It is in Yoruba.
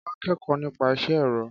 Kọ́lá n kẹ́kọ̀ọ́ nípa isẹ́ ẹ̀rọ.